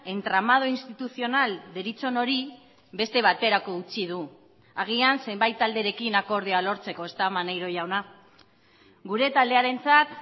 entramado institucional deritzon hori beste baterako utzi du agian zenbait talderekin akordioa lortzeko ezta maneiro jauna gure taldearentzat